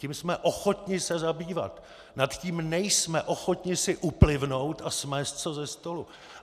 Tím jsme ochotni se zabývat, nad tím nejsme ochotni si uplivnout a smést to ze stolu.